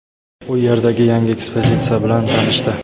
u yerdagi yangi ekspozitsiya bilan tanishdi.